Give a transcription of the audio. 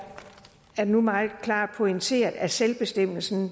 nu meget klart pointeret at selvbestemmelsen